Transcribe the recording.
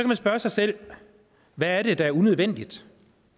man spørge sig selv hvad er det der er unødvendigt